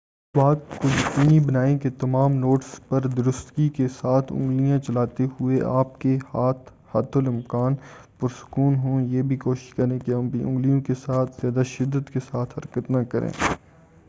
اس بات کو یقینی بنائیں کہ تمام نوٹس پر درستگی کے ساتھ اُنگلیاں چلاتے ہوئے آپ کے ہاتھ حتی الامکان پرسکون ہوں یہ بھی کوشش کریں کہ اپنی اُنگلیوں کے ساتھ زیادہ شدت کے ساتھ حرکت نہ کریں